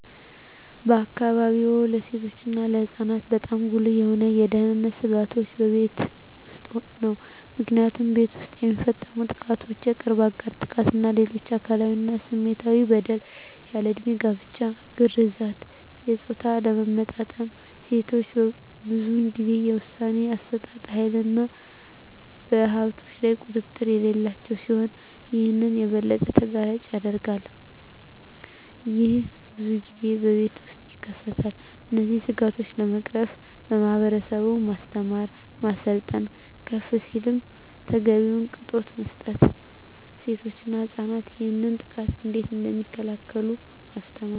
በአካባቢዎ ለሴቶች እና ለህፃናት በጣም ጉልህ የሆኑ የደህንነት ስጋቶች በቤት ውስጥ ነው። ምክንያቱም ቤት ውስጥ የሚፈፀሙ ጥቃቶች የቅርብ አጋር ጥቃት እና ሌሎች አካላዊ እና ስሜታዊ በደል፣ ያልድሜ ጋብቻ፣ ግርዛት፣ የፆታ አለመመጣጠን፣ ሴቶች ብዙን ጊዜ የውሣኔ አሠጣጥ ሀይልና በሀብቶች ላይ ቁጥጥር የሌላቸው ሲሆን ይህም የበለጠ ተጋላጭ ያደርጋቸዋል። ይህም ብዙን ጊዜ በቤት ውስጥ ይከሰታል። እነዚህን ስጋቶች ለመቅረፍ ማህበረሰቡን ማስተማር፣ ማሰልጠን፣ ከፍ ሲልም ተገቢውን ቅጣት መስጠት፣ ሴቶች እና ህፃናት ይህንን ጥቃት እንዴት እደሚከላከሉ ማስተማር።